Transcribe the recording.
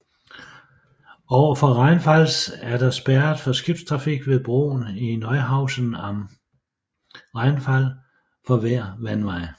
Ovenfor Rheinfalls er der spærret for skibstrafik ved broen i Neuhausen am Rheinfall for hver vandvej